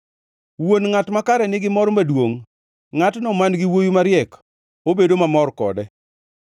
Wuon ngʼat makare nigi mor maduongʼ; ngʼatno man-gi wuowi mariek obedo mamor kode.